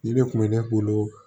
Nin de kun bɛ ne bolo